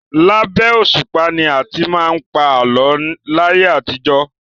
Labẹ́ òṣùpá ni a ti máa ń pa àlọ́ láyé àtijọ́.